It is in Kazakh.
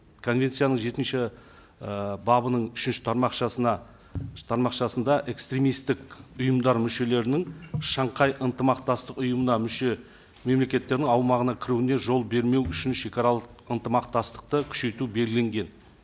конвенцияның жетінші ы бабының үшінші тармақшасына тармақшасында экстремисттік ұйымдар мүшелерінің шанхай ынтымақтастық ұйымына мүше мемлекеттердің аумағына кіруіне жол бермеу үшін шегаралық ынтымақтастықты күшейту белгіленген